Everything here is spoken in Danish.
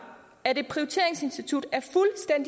at et prioriteringsinstitut